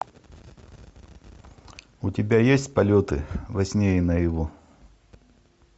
у тебя есть полеты во сне и наяву